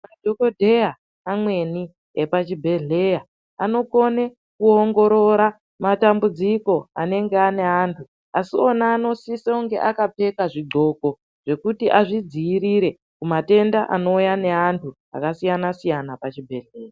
Madhokoteya amweni epazvibhelera anekine kuongorora matambudziko anenge ane antu asio a anosiso akapfeka zvidxoko zvwkuti azvidzivirire kumatenda anouya nevantu kuzvibhedhlera.